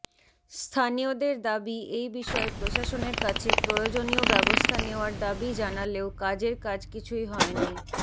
স্থানীয়দের দাবি এই বিষয়ে প্রশাসনের কাছে প্রয়োজনীয় ব্যবস্থা নেওয়ার দাবি জানালেও কাজের কাজ কিছুই হয়নি